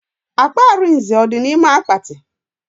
Akpa Arinze ọ dị n'ime akpati?